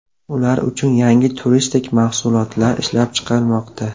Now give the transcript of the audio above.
Ular uchun yangi turistik mahsulotlar ishlab chiqilmoqda.